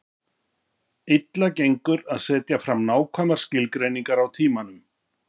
Illa gengur að setja fram nákvæmar skilgreiningar á tímanum.